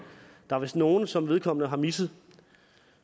der er vist nogle som vedkommende har misset